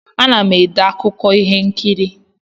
Ana m ede akụkọ ihe nkiri.